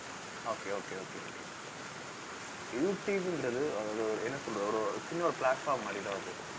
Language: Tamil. okay okay okay okay யூடுயூப்ங்கிறது அதாவது ஒரு என்ன சொல்றது ஒரு சின்ன ஒரு platform மாதிரிதான் அது